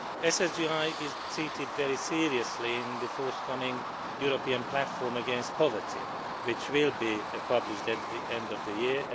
SSGI is treated very seriously in the upcoming European Platform against Poverty which will be published at the end of the year.